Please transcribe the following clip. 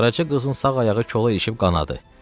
Qaraca qızın sağ ayağı kola eşib qanadı.